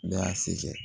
Ne y'a se kɛ